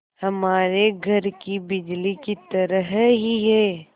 हमारे घर की बिजली की तरह ही है